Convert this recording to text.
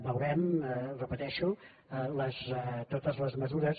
veurem ho repeteixo totes les mesures